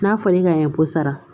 N'a fɔra e k'a ɲɛ ko sara